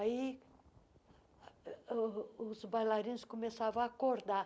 Aí ah oh os bailarinos começavam a acordar.